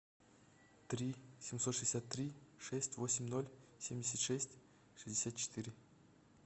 три семьсот шестьдесят три шесть восемь ноль семьдесят шесть шестьдесят четыре